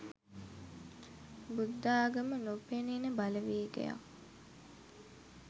බුද්ධාගම නොපෙනෙනෙන බලවේගයක්